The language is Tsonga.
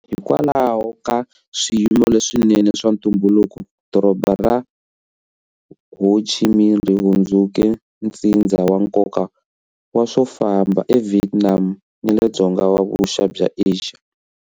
Hikwalaho ka swiyimo leswinene swa ntumbuluko, Doroba ra Ho Chi Minh ri hundzuke ntsindza wa nkoka wa swo famba eVietnam ni le Dzonga-vuxa bya Asia.